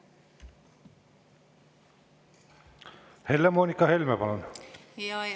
Helle-Moonika Helme, palun!